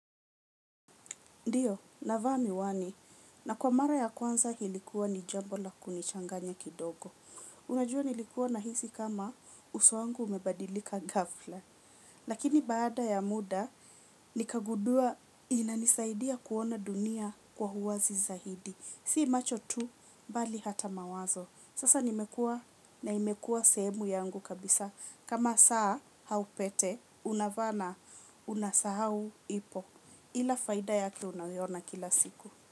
Ndiyo, navaa miwani na kwa mara ya kwanza ilikuwa ni jambo la kunichanganya kidogo. Unajua nilikua nahisi kama uso wangu umebadilika ghafla lakini baada ya muda nikagundua inanisaidia kuona dunia kwa uwazi zaidi si macho tu, bali hata mawazo. Sasa nimekua na imekua sehemu yangu kabisa. Kama saa au pete unava na unasahau ipo. Ila faida yake unaiona kila siku.